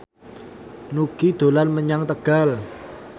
Nugie dolan menyang Tegal